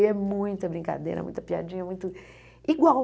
E é muita brincadeira, muita piadinha, muito... Igual!